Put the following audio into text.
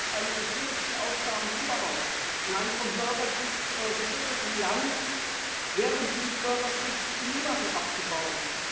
Sie hat jetzt eine der schwierigsten Aufgaben überhaupt in einem vom Bürgerkrieg geschüttelten Land während dieses Bürgerkriegs die Chemiewaffen abzubauen.